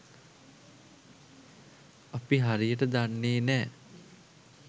අපි හරියට දන්නේ නෑ.